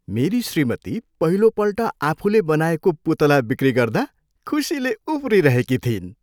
मेरी श्रीमती पहिलोपल्ट आफुले बनाएको पुतला बिक्री गर्दा खुशीले उफ्रिरहेकी थिइन्।